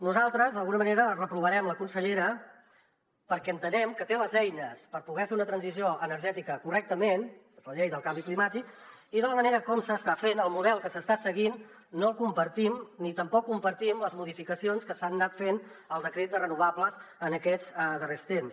nosaltres d’alguna manera reprovarem la consellera perquè entenem que té les eines per poder fer una transició energètica correctament és la llei del canvi climàtic i la manera com s’està fent el model que s’està seguint no el compartim ni tampoc compartim les modificacions que s’han anat fent al decret de renovables en aquests darrers temps